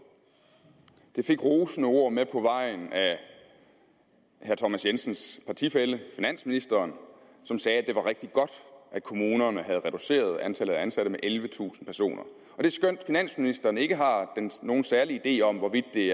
det fik rosende ord med på vejen af herre thomas jensens partifælle finansministeren som sagde at det var rigtig godt at kommunerne havde reduceret antallet af ansatte med ellevetusind personer og det skønt finansministeren ikke har nogen særlig idé om hvorvidt det